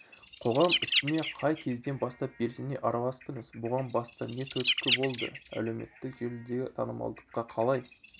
қоғам ісіне қай кезден бастап белсене араластыңыз бұған баста не түрткі болды әлеуметтік желідегі танымалдыққа қалай